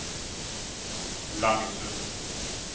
Langesund